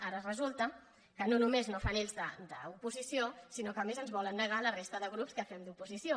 ara resulta que no només no fan ells d’oposició sinó que a més ens volen negar a la resta de grups que fem d’oposició